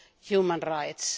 human rights